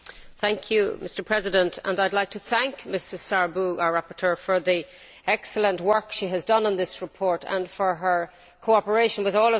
Mr President, I would like to thank Mrs Sârbu, our rapporteur, for the excellent work she has done on this report and for her cooperation with all the shadows.